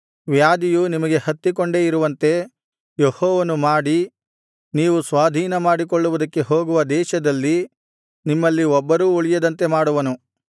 ವ್ಯಾಧಿಯು ನಿಮಗೆ ಹತ್ತಿಕೊಂಡೇ ಇರುವಂತೆ ಯೆಹೋವನು ಮಾಡಿ ನೀವು ಸ್ವಾಧೀನ ಮಾಡಿಕೊಳ್ಳುವುದಕ್ಕೆ ಹೋಗುವ ದೇಶದಲ್ಲಿ ನಿಮ್ಮಲ್ಲಿ ಒಬ್ಬರೂ ಉಳಿಯದಂತೆ ಮಾಡುವನು